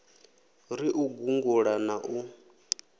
ri u gungula na u